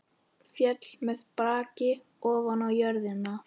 Féll með braki ofan á jörðina.